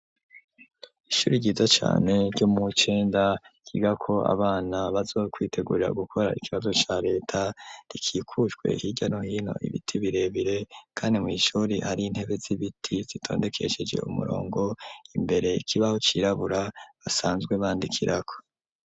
Ishuri ryiza cane ryo muwi cenda ryigako abana bazokwitegurira gukora ikibazo ca leta gikikujwe hirya no hino ibiti birebire kandi mw'ishuri hari intebe z'ibiti zitondekesheje umurongo imbere ikibaho cirabura basanzwe bandikirako.